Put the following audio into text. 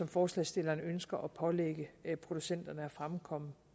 forslagsstillerne ønsker at pålægge producenterne at fremkomme